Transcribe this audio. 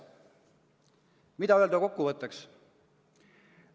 Mida öelda kokkuvõtteks?